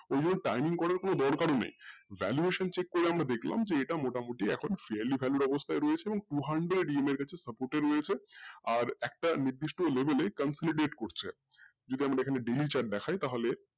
ওই জন্য timing করার কোনো দরকার নেই valuation করে আমরা দেখলাম যে এটা মোটামুটি এখন farly value অবস্থায় রয়েছে এবং two hundred কোচে support রয়েছে আর একটা নির্দিষ্ট timing করছে যেহেতু আমরা valuation দেখায় তাহলে